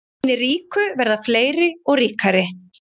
Hinir ríku verða fleiri og ríkari